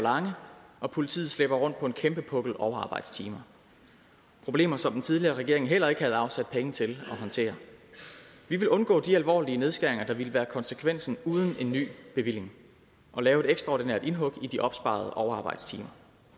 lange og politiet slæber rundt på en kæmpe pukkel overarbejdstimer problemer som den tidligere regering heller ikke havde afsat penge til håndtere vi vil undgå de alvorlige nedskæringer der ville være konsekvensen uden en ny bevilling og lave et ekstraordinært indhug i de opsparede overarbejdstimer